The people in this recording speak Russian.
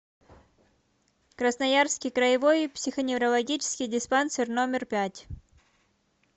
красноярский краевой психоневрологический диспансер номер пять